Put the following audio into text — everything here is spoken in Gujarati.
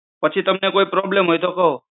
પછી તમને કોઈ problem હોય તો કયો.